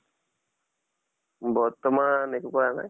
বৰ্তমান একো কৰা নাই।